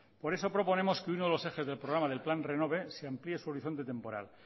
por eso proponemos que uno de los ejes del programa del plan renove se amplíe su horizonte temporal